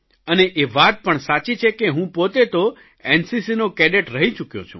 અને એ વાત પણ સાચી છે કે હું પોતે તો એનસીસીનો કેડેટ રહી ચૂક્યો છું